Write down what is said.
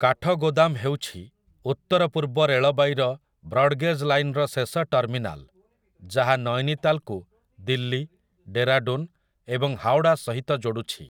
କାଠଗୋଦାମ ହେଉଛି ଉତ୍ତରପୂର୍ବ ରେଳବାଇର ବ୍ରଡଗେଜ୍ ଲାଇନ୍‌ର ଶେଷ ଟର୍ମିନାଲ୍ ଯାହା ନୈନିତାଲ୍‌କୁ ଦିଲ୍ଲୀ, ଡେରାଡୁନ୍, ଏବଂ ହାୱଡ଼ା ସହିତ ଯୋଡ଼ୁଛି ।